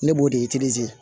Ne b'o de